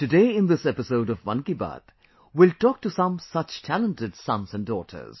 Today in this episode of Mann Ki Baat we will talk to some such talented sons and daughters